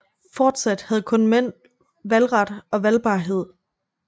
Fortsat havde kun mænd valgret og valgbarhed